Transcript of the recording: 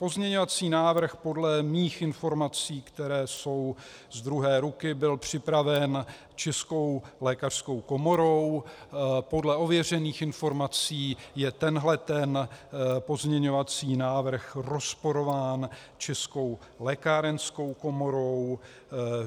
Pozměňovací návrh podle mých informací, které jsou z druhé ruky, byl připraven Českou lékařskou komorou, podle ověřených informací je tenhle ten pozměňovací návrh rozporován Českou lékárenskou komorou.